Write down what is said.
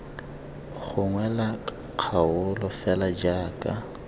gongwe la kgaolo fela jaaka